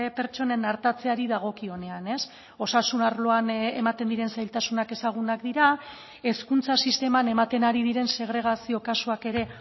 pertsonen artatzeari dagokionean osasun arloan ematen diren zailtasunak ezagunak dira hezkuntza sisteman ematen ari diren segregazio kasuak ere